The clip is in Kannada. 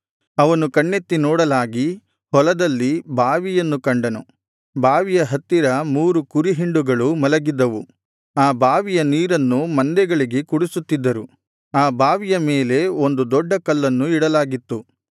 ಅವನು ಕಣ್ಣೆತ್ತಿ ನೋಡಲಾಗಿ ಹೊಲದಲ್ಲಿ ಬಾವಿಯನ್ನು ಕಂಡನು ಬಾವಿಯ ಹತ್ತಿರ ಮೂರು ಕುರಿಹಿಂಡುಗಳು ಮಲಗಿದ್ದವು ಆ ಬಾವಿಯ ನೀರನ್ನು ಮಂದೆಗಳಿಗೆ ಕುಡಿಸುತ್ತಿದ್ದರು ಆ ಬಾವಿಯ ಮೇಲೆ ಒಂದು ದೊಡ್ಡ ಕಲ್ಲನ್ನು ಇಡಲಾಗಿತ್ತು